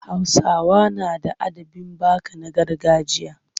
Hausawa na da adabin baka na gargajiya.